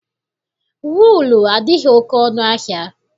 Wuulu adịghị oke ọnụ ahịa.